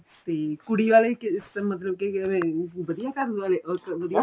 ਤੇ ਕੁੜੀ ਆਲੇ ਕਿਸ ਮਤਲਬ ਕੇ ਅਹ ਵਧੀਆ ਘਰ ਵਾਲੇ